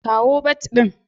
Kawo bat din